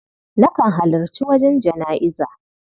Nakan halarci wajen jana'iza.